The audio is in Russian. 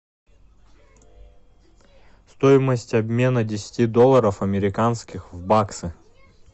стоимость обмена десяти долларов американских в баксы